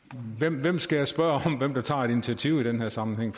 hvem skal jeg spørge om hvem der tager et initiativ i den her sammenhæng